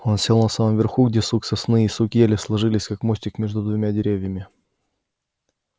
он сел на самом верху где сук сосны и сук ели сложились как мостик между двумя деревьями